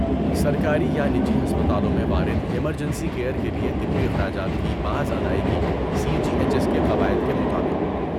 سرکاری یا نجی ہسپتالوں میں وارد ایمرجنسی کیئر کے لیے طبی اخراجات کی باز ادائیگی، سی جی ایچ ایس کے قواعد کے مطابق۔